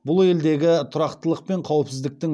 бұл елдегі тұрақтылық пен қауіпсіздіктің